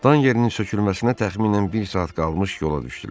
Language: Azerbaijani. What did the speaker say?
Tan yerinin sökülməsinə təxminən bir saat qalmış yola düşdülər.